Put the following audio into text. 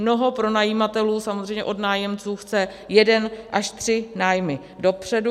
Mnoho pronajímatelů samozřejmě od nájemců chce jeden až tři nájmy dopředu.